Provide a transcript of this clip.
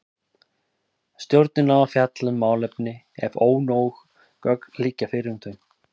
Stjórnin á að fjalla um málefni ef ónóg gögn liggja fyrir um þau.